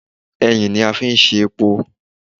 Ẹyìn ni a fi ṣe epo